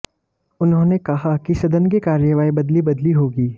उन्होंने कहा कि सदन की कार्यवाही बदली बदली होगी